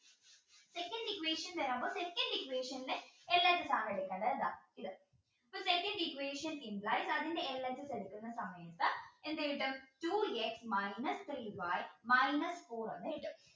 second equation second equation ൽ LHS ആണ് എടുക്കേണ്ടത് കേട്ട അപ്പോ second equation അതിൻറെ LHS എടുക്കുന്ന സമയത്ത് എന്ത് കിട്ടും two x minus three y minus four എന്നെ കിട്ടും